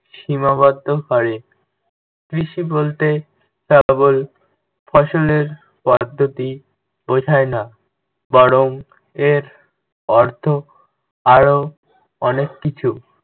সীমাবদ্ধ করে। কৃষি বলতে কেবল ফসলের পদ্ধতি বোঝায় না। বরং, এর অর্থ আরও অনেক কিছু।